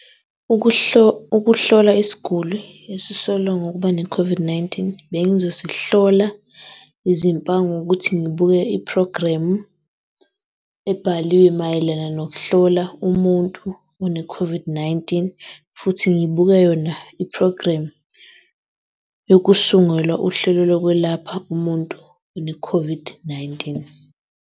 Ukuhlola isiguli esisolwa ngokuba ne-COVID-19 bengizosihlola izimpawu ngokuthi ngibuke i-programme ebhaliwe mayelana nokuhlola umuntu one-COVID-19 futhi ngiyibuke yona i-programme yokusungulwa uhlelo lokwelapha umuntu one-COVID-19.